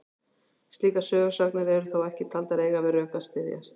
Slíkar sögusagnir eru þó ekki taldar eiga við rök að styðjast.